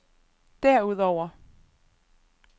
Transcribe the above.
derudover